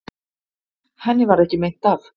Henni varð ekki meint af.